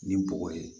Ni bɔgɔ ye